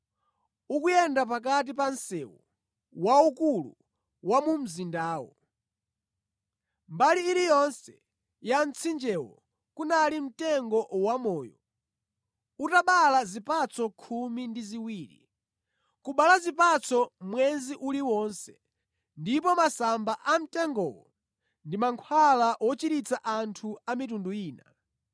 Ukuyenda pakati pa msewu waukulu wa mu mzindawo. Mbali iliyonse ya mtsinjewo kunali mtengo wamoyo, utabala zipatso khumi ndi ziwiri. Kubereka zipatso mwezi uliwonse. Ndipo masamba a mtengowo ndi mankhwala wochiritsa anthu a mitundu ina.